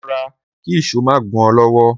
Ro̩ra kí ìs̩ó má gún o̩ ló̩wó̩..